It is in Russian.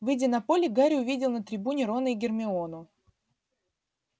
выйдя на поле гарри увидел на трибуне рона и гермиону